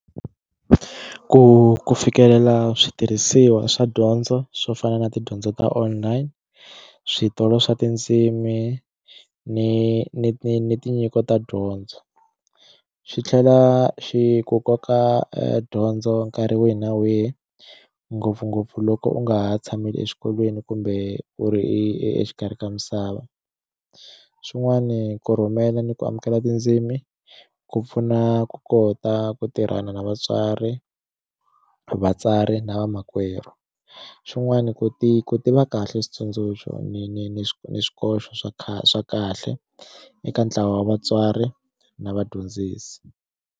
Ku ku fikelela switirhisiwa swa dyondzo swo fana na tidyondzo ta online switolo swa tindzimi ni ni ni ni tinyiko ta dyondzo xi tlhela xi ku koka edyondzo nkarhi wihi na wihi ngopfungopfu loko u nga ha tshameli exikolweni kumbe u ri exikarhi ka misava xin'wani ku rhumela ni ku amukela tindzimi ku pfuna ku kota ku tirhana na vatswari vatsari na vamakwerhu xin'wani ku ti ku ti va kahle switsundzuxo ni ni ni ni swikoxo swa khale swa kahle eka ntlawa wa vatswari na vadyondzisi.